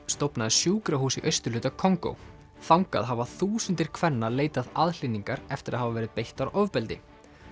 stofnaði sjúkrahús í austurhluta Kongó þangað hafa þúsundir kvenna leitað aðhlynningar eftir að hafa verið beittar ofbeldi